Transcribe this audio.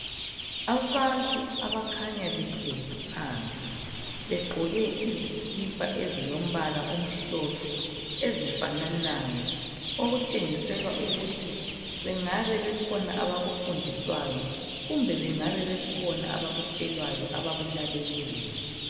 Abantu abakhanya behlezi phansi begqoke izikipa ezilombala omhlophe ezifananayo okutshengisela ukuthi bangabe bekhona abakufundiswayo kumbe bangabe bekhona abakutshelwayo abakulaleleyo.